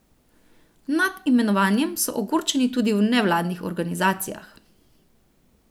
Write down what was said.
Nad imenovanjem so ogorčeni tudi v nevladnih organizacijah.